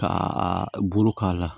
Ka a bolo k'a la